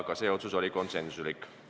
Otsused oli konsensuslikud.